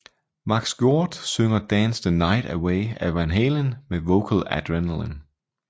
Max Georde synger Dance the Night Away af Van Halen med Vocal Adrenaline